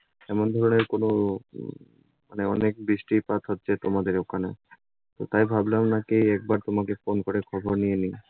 এমন ধরনের কোনো উম মানে অনেক বৃষ্টিপাত হচ্ছে তোমাদের ওখানে। তো তাই ভাবলাম নাকি একবার তোমাকে phone করে খবর নিয়ে নিই।